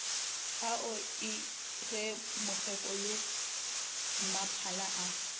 ao ie ge mokgekolommaphala a